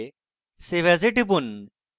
save as এ টিপুন